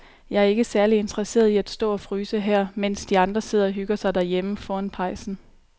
Jeg er ikke særlig interesseret i at stå og fryse her, mens de andre sidder og hygger sig derhjemme foran pejsen.